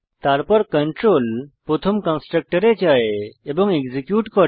তারপর কন্ট্রোল প্রথম কন্সট্রকটরে যায় এবং এক্সিকিউট করে